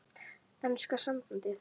Enska sambandið?